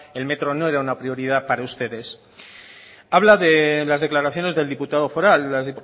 el metro no era una prioridad para ustedes habla de las declaraciones del diputado foral las